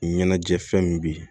Ɲɛnajɛ fɛn min be yen